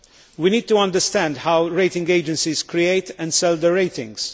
We need to understand how rating agencies create and sell their ratings.